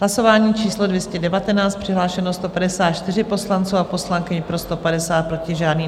Hlasování číslo 219, přihlášeno 154 poslanců a poslankyň, pro 150, proti žádný.